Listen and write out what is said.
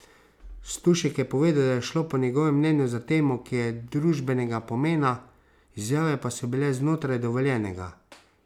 Stušek je povedal, da je šlo po njegovem mnenju za temo, ki je družbenega pomena, izjave pa so bile znotraj dovoljenega.